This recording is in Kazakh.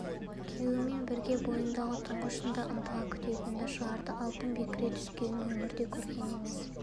күйеуімен бірге бойындағы тұңғышын да ынтыға күтетінді шығарды алтын бекіре түскенін өмірде көрген емес